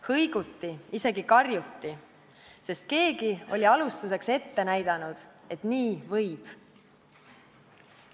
Hõiguti, isegi karjuti, sest keegi oli alustuseks ette näidanud, et nii võib.